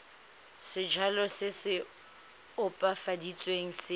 sejalo se se opafaditsweng se